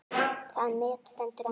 Það met stendur enn.